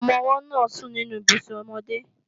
Ọmọ-ọwọ́ náà sùn nínú Ibùsùn ọmọdé